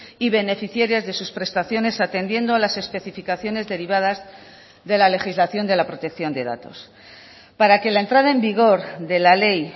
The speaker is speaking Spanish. y beneficiarias de sus prestaciones atendiendo a las especificaciones derivadas de la legislación de la protección de datos para que la entrada en vigor de la ley